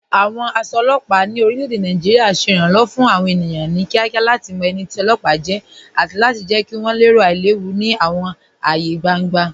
Awọn aṣọ ọlọpa ni orilẹ̀-èdè Nàìjíríà ṣẹ iranlọ́wọ fun awọn ènìyàn ni kíakíá lati mọ ẹni tì ọlọpa jẹ̀ àti jẹ̀ kí wọn lẹ̀rò ailẹ̀wù ni awọn ààyè gbàŋgbà.